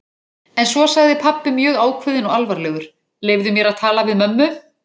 En svo sagði pabbi mjög ákveðinn og alvarlegur: Leyfðu mér að tala við mömmu?